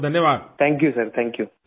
آپ کا شکریہ سر! آ پ کا شکریہ!